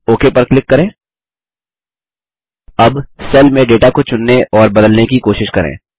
okay पर click करें